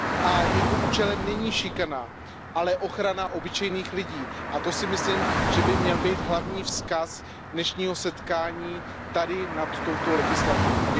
a jeho účelem není šikana, ale ochrana obyčejných lidí, a to si myslím, že by měl být hlavní vzkaz dnešního setkání tady nad touto legislativou.